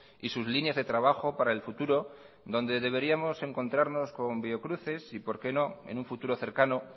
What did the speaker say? y sus líneas de trabajo para el futuro donde deberíamos encontrarnos con biocruces y por qué no en un futuro cercano